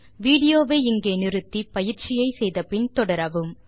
video வை இங்கே pause செய்து பின்வரும் எக்ஸர்சைஸ் ஐ செய்த பின் மீண்டும் தொடரவும்